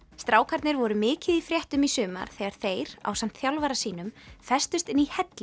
strákarnir voru mikið í fréttum í sumar þegar þeir ásamt þjálfara sínum festust inni í helli í